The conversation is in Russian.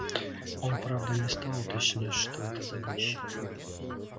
он правда не стал уточнять что это за вещи